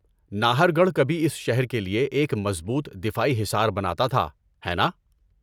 ناہر گڑھ کبھی اس شہر کے لیے ایک مضبوط دفاعی حصار بناتا تھا، ہے نا؟